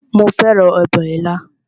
Mo fẹ́ràn ọbẹ̀ ilá